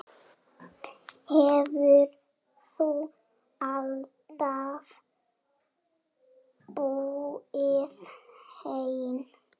Hefurðu alltaf búið einn?